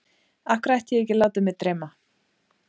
Af hverju ætti ég ekki að láta mig dreyma?